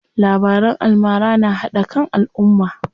Labaran almara na haɗa kan alumma.